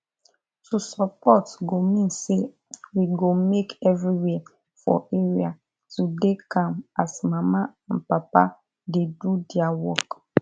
to support go mean say we go make everywhere for area to dey calm as mama and papa dey do their work